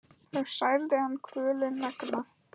þá særði hann kvölin megna.